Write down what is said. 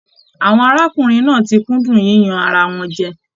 Àwọn arákùnrin náà tí kúndùn yíyan ará wọn jẹ.